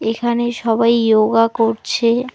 এখানে সবাই ইয়োগা করছে।